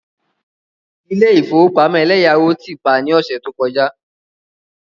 Ilé ìfowópamọ́ eleyawo ti pa ní ọ̀sẹ̀ tó kọjá.